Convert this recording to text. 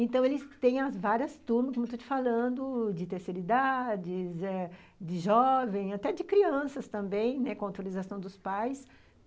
Então, eles têm as várias turmas, como eu estou te falando, de terceira idade, eh de jovem, até de crianças também, né, com autorização dos pais.